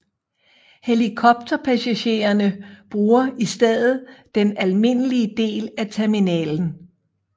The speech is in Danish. Helikopterpassagererne bruger i stedet den almindelige del af terminalen